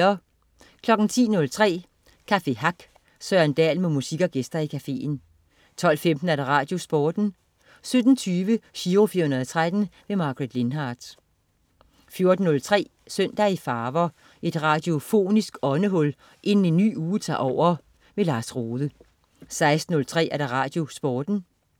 10.03 Café Hack. Søren Dahl med musik og gæster i cafeen 12.15 RadioSporten 12.17 Giro 413. Margaret Lindhardt 14.03 Søndag i farver. Et radiofonisk åndehul inden en ny uge tager over. Lars Rohde 16.03 RadioSporten